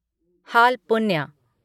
हाल पुन्ह्या